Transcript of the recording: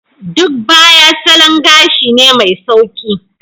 Duk Baya salon gashi ne mai sauƙi.